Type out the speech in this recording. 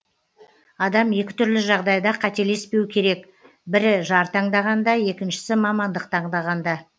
адам екі түрлі жағдайда қателеспеу керек бірі жар таңдағанда екіншісі мамандық таңдағанда